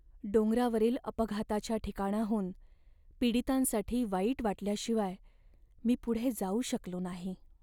डोंगरावरील अपघाताच्या ठिकाणाहून पीडितांसाठी वाईट वाटल्याशिवाय मी पुढे जाऊ शकलो नाही.